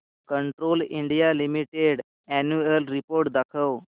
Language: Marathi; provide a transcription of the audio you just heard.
Castrol India limited annual report दाखव